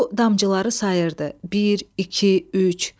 O damcıları sayırdı: bir, iki, üç.